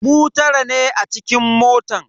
Mu tara ne a cikin motan.